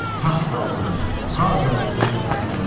Taxt aldı, tac aldı qoca daradan.